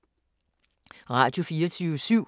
Radio24syv